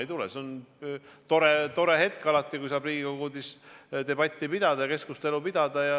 Ei tule, see on tore hetk alati, kui saab Riigikogu puldis debatti pidada, keskustelu pidada.